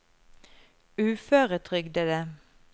uføretrygdede